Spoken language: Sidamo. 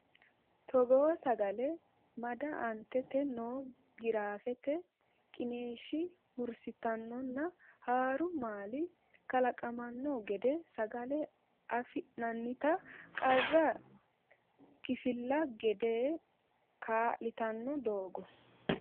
Togoo sagale mada Aantete noo giraafete qiniishshi hursitannonna haaru maali kalaqamanno giddo sagale afi nannita qara kifilla gede kaa litanno Togoo.